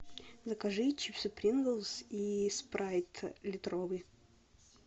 закажи чипсы принглс и спрайт литровый